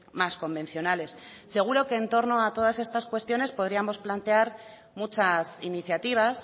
más convencionales seguro que en torno a todas estas cuestiones podríamos plantear muchas iniciativas